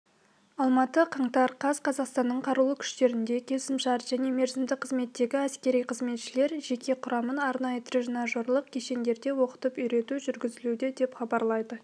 алматы қаңтар қаз қазақстанның қарулы күштерінде келісімшарт және мерзімді қызметтегі әскери қызметшілер жеке құрамын арнайы тренажерлық кешендерде оқытып-үйрету жүргізілуде деп хабарлады